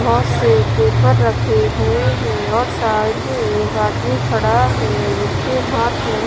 बहोत से पेपर रखे हुए हैं और साइड में एक आदमी खड़ा है जिसके हाथ में--